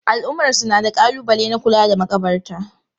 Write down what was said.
Al'ummarsu na da kalubale na kula da makabarta.